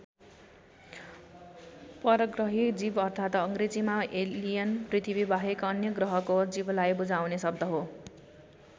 परग्रही जीव अर्थात् अङ्ग्रेजीमा एलियन पृथ्वी बाहेक अन्य ग्रहको जीवलाई बुझाउने शब्द हो।